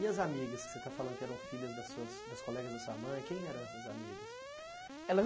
E as amigas que você está falando que eram filhas das suas das colegas da sua mãe, quem eram essas amigas? Elas